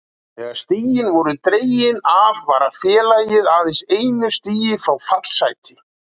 Þegar stigin voru dregin af var félagið aðeins einu stigi frá fallsæti.